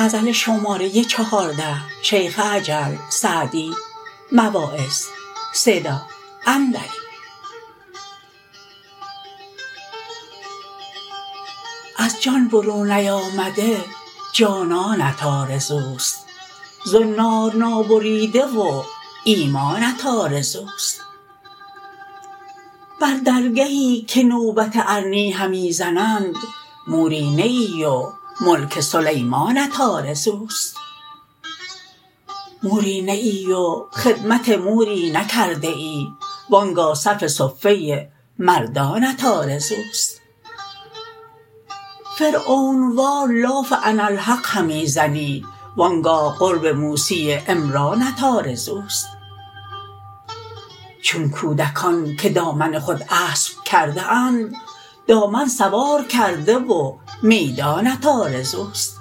از جان برون نیامده جانانت آرزوست زنار نابریده و ایمانت آرزوست بر درگهی که نوبت ارنی همی زنند موری نه ای و ملک سلیمانت آرزوست موری نه ای و خدمت موری نکرده ای وآنگاه صف صفه مردانت آرزوست فرعون وار لاف اناالحق همی زنی وآنگاه قرب موسی عمرانت آرزوست چون کودکان که دامن خود اسب کرده اند دامن سوار کرده و میدانت آرزوست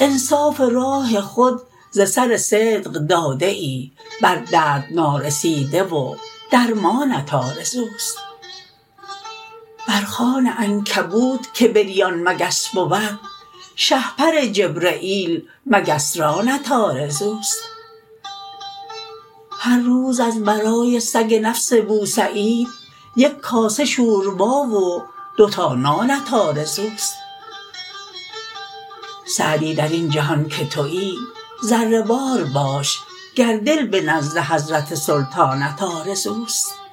انصاف راه خود ز سر صدق داده ای بر درد نارسیده و درمانت آرزوست بر خوان عنکبوت که بریان مگس بود شهپر جبرییل مگس رانت آرزوست هر روز از برای سگ نفس بوسعید یک کاسه شوربا و دو تا نانت آرزوست سعدی در این جهان که تویی ذره وار باش گر دل به نزد حضرت سلطانت آرزوست